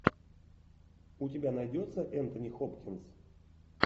у тебя найдется энтони хопкинс